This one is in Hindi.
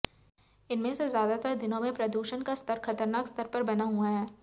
इनमें से ज़्यादातर दिनों में प्रदूषण का स्तर ख़तरनाक स्तर पर बना हुआ है